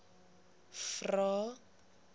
vvvvrae